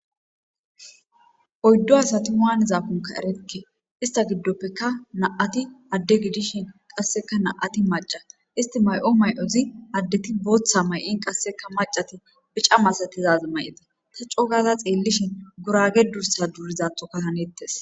Oyddo asati maaniza punka erekke ista giddoppeka na7ati adde gidishin qasseka na7ati maca isti may7o may7ozi addeti booththa may7in qasseka macati bica masatizaz may7ite ta cogaza xeellishin gurage dursa durizathoka hanettes.